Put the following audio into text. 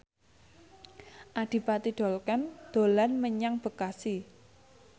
Adipati Dolken dolan menyang Bekasi